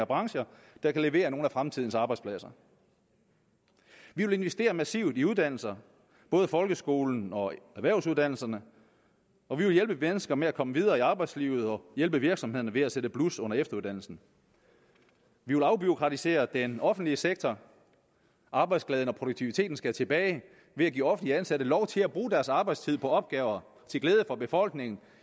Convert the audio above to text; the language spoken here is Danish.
brancher der kan levere nogle af fremtidens arbejdspladser vi vil investere massivt i uddannelser både folkeskolen og erhvervsuddannelserne og vi vil hjælpe mennesker med at komme videre i arbejdslivet og hjælpe virksomhederne ved at sætte blus under efteruddannelsen vi vil afbureaukratisere den offentlige sektor arbejdsglæden og produktiviteten skal tilbage ved at give offentlige ansatte lov til at bruge deres arbejdstid på opgaver til glæde for befolkningen